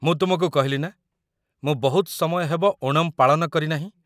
ମୁଁ ତୁମକୁ କହିଲି ନା, ମୁଁ ବହୁତ ସମୟ ହେବ ଓଣମ୍ ପାଳନ କରିନାହିଁ ।